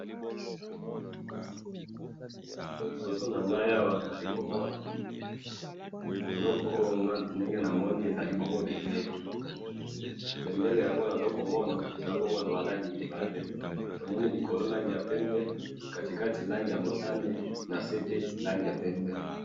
liboso nangai awa nazali komona eloko oyo ngai ndenge namoni ezali bongo bendela bendela yango nazakomona eza bongo naba rangi mibale tomoni likolo rangi ya pembe katikati rangi ya motane na nsepe rangi ya pembe